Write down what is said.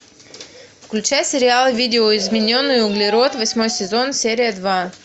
включай сериал видоизмененный углерод восьмой сезон серия два